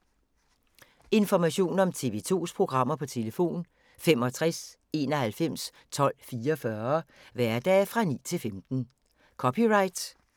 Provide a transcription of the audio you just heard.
Information om TV 2's programmer: 65 91 12 44, hverdage 9-15.